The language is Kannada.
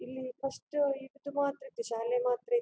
ಇಲ್ಲಿ ಫಸ್ಟ್ ಇದು ಮಾತ್ರ ಇತ್ತು ಶಾಲೆ ಮಾತ್ರ ಇತ್ತು.